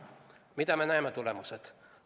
Milliseid tulemusi me näeme?